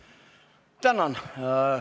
Tänan!